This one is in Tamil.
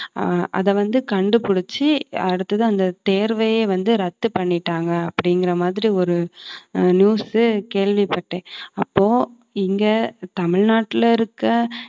அஹ் அதை வந்து கண்டுபிடிச்சு அடுத்தது அந்த தேர்வையே வந்து ரத்து பண்ணிட்டாங்க அப்படிங்கிற மாதிரி ஒரு ஆஹ் news கேள்விப்பட்டேன். அப்போ இங்க தமிழ்நாட்டுல இருக்க